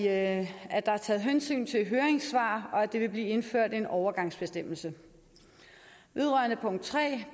at der er taget hensyn til høringssvar og at der vil blive indført en overgangsbestemmelse vedrørende punkt tre